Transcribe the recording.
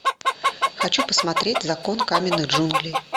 хочу посмотреть закон каменных джунглей